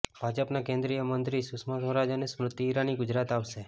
ભાજપના કેન્દ્રીય મંત્રી સુષ્મા સ્વરાજ અને સ્મૃતિ ઈરાની ગુજરાત આવશે